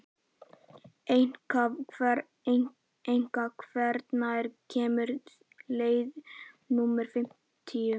Enika, hvenær kemur leið númer fimmtíu?